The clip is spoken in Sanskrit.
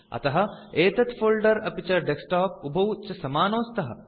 अतः एतत् फोल्डर अपि च डेस्कटॉप उभौ च समानौ स्तः